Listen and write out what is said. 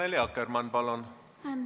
Annely Akkermann, palun!